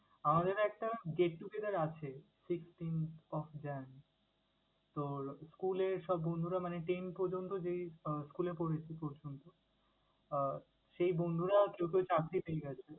আমাদের একটা get together আছে sixteenth of Jan তোর school এর সব বন্ধুরা মানে ten পর্যন্ত যেই আহ school এ পড়েছি এই পর্যন্ত আহ সেই বন্ধুরা চৌদ্দই গেছে।